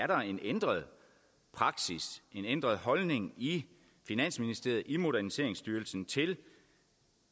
der er en ændret praksis en ændret holdning i finansministeriet i moderniseringsstyrelsen til